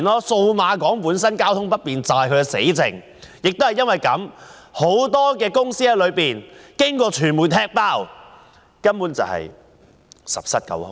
數碼港交通不便便是死症，亦由於這個原因，傳媒已"踢爆"很多商鋪根本是十室九空。